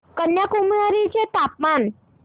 कन्याकुमारी चे तापमान